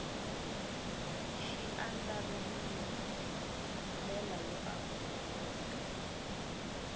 xi andlariwil ndlela yo amukeleka